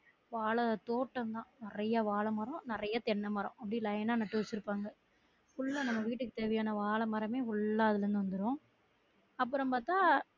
வாழ தோட்டமா நிறைய வாழைமரம், நிறைய தென்னமரம் அப்படி line ஆ நட்டி வச்சுருப்பாங்க full ஆ நம்ம வீட்டுக்கு தேவையான வாழைமரமே full ஆ அதுல இருந்து வந்துரும் அப்ரோம் பாத்தா